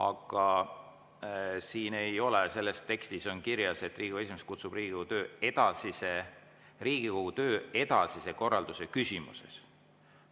Aga selles tekstis on kirjas, et Riigikogu esimees kutsub selle kokku Riigikogu töö edasise korralduse küsimuses.